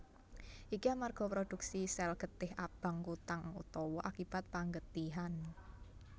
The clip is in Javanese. Iki amarga prodhuksi sèl getih abang kutang utawa akibat panggetihan